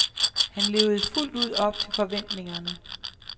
Han levede fuldt ud op til forventningerne.